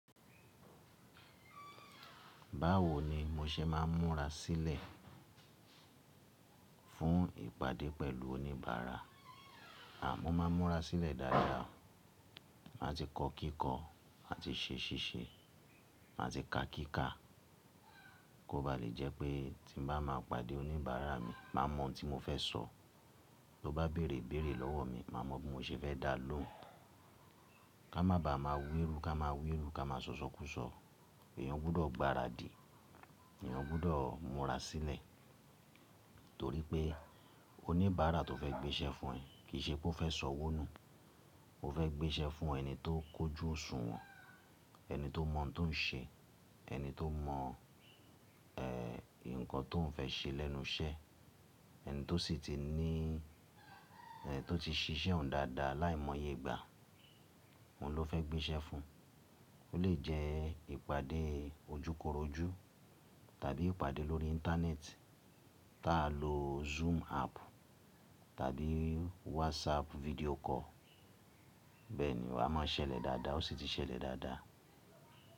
Báwo ni mo ṣe máa ń múra sílẹ̀ fún ìpàdé pẹ̀lú oníbàárà? À mọ́ máa ń múra sílẹ̀ dáadáa. Màá ti kọ kíkọ, màá ti ṣe ṣíṣe, màá ti ka kíkà, kó ba lè jẹ́ pé tí n bá máa pàdé oníbàárà mi, màá mọ̀ ohun tí mo fẹ́ sọ̀. Tó bá bèrè ibèerè lọ́wọ́ mi, màá mọ̀ bí mo ṣe fẹ́ dá a lóhùn. Ká má bàá máa wiru, ká máa wiru, ká máa sọ̀sọ́kúsọ. Èèyàn gbudọ̀ gbaradì, èèyàn gbudọ̀ múra sílẹ̀. Torí pé oníbàárà tó fẹ́ gbéṣẹ́ fún ẹ kì í ṣe pé ó fẹ́ sọ ọwọ́ nù. Ó fẹ́ gbéṣẹ́ fún ẹni tó kójú òṣùwọ̀n, ẹni tó mọ̀ tó ń ṣe, ẹni tó mọ̀, ẹ́, nǹkan tó ń fẹ́ ṣe lẹ́nu iṣẹ́, ẹni tó sì ti ní, ẹ́, tó ti ṣiṣẹ́ òun dáadáa láìmọye ìgbà, òun ló fẹ́ gbéṣẹ́ fún. Ó lè jẹ́ ìpàdé ojúkorojú tàbí ìpàdé lórí Íńtánẹ́ẹ̀tì, tá a lo Zoom app tàbí WhatsApp video call. Bẹ́ẹ̀ ni, wà á máa ṣẹlẹ̀ dáadáa, ó sì ti ṣẹlẹ̀ dáadáa.